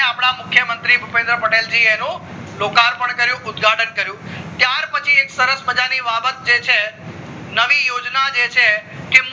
અપડા મુખ્ય મંત્રી ભુપેન્દ્ર પટેલ જી અ એનું લોકાર્પણ કર્યું ઉદ્ઘાટન કર્યું ત્યારપછી એક સરસ મજા ની બાબત જે છે નવી યોજના છે એ એમને